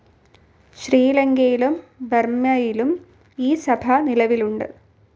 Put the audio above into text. ശ്രീലങ്കയിലും ബർമ്മയിലും ഈ സഭ നിലവിലുണ്ട്.